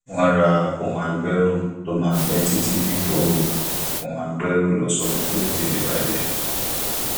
wọn ra ohun agbẹrù tó máa pẹ títí dípò ohun agbẹrù lọṣọọ tó lè tètè bàjẹ